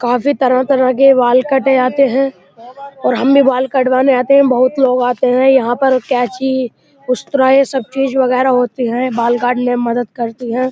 काफी तरह तरह के बाल कटे जाते हैं और हम भी बाल कटवाने आते हैं। बहुत लोग आते हैं। यहाँ पर कैंची उस्तरा ये सब चीज़ वगेरा होती हैं बाल काटने में मदद करती हैं।